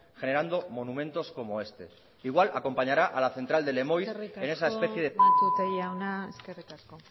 generando monumentos como este igual acompañará a la central de lemoiz en esa especie de eskerrik asko matute jauna eskerrik asko